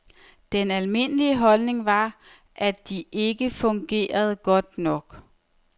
Den almindelige holdning var, at de ikke fungerede godt nok.